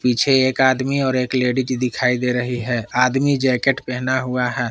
पीछे एक आदमी और एक लेडीज दिखाई दे रही है आदमी जैकेट पहना हुआ है।